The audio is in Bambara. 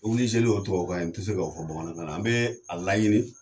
don k'o kɛ tubabikan na n tɛ se k'o fɔ bamanankan na an bɛ a laɲini